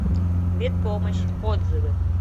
ветпомощь отзывы